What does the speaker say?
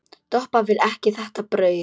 Doppa vill ekki þetta brauð.